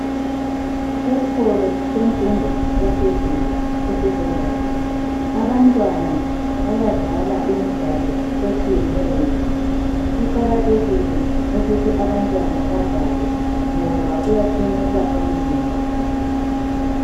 Esikolo semfundo yaphezulu esecondary. Abantwana bayadlala imidlalo etshiyeneyo. Kuqakathekile ukuthi abantwana badlale ngoba kuyaqinisa umzimba.